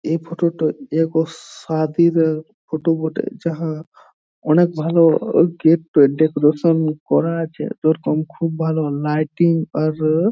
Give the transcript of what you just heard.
এই ফোটো -তে এক অর সাদির র ফটো বটে যাহা অনেক ভালো গেট ডেকোরেশন করা আছে যেরকম খুব ভালো লাইটিং আর ও--